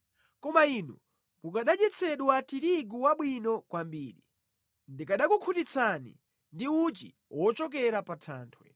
Koma inu mukanadyetsedwa tirigu wabwino kwambiri; ndikanakukhutitsani ndi uchi wochokera pa thanthwe.”